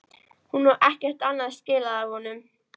Hún á ekkert annað skilið af honum.